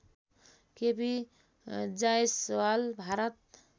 KP Jaiswal Bharat